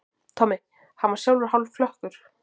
Tommi, hann var sjálfur hálfklökkur.